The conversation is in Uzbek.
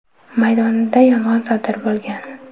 maydonida yong‘in sodir bo‘lgan.